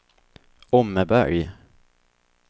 Åmmeberg